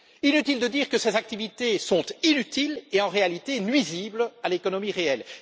Inutile de dire que ces activités sont inutiles et, en réalité, nuisibles à l'économie réelle.